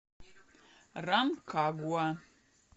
ранкагуа